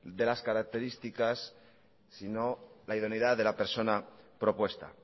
de las características sino la idoneidad de la persona propuesta